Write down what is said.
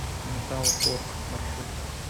металл торг маршрут